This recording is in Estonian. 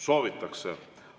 Soovitakse.